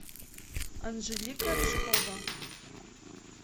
анжелика рыжкова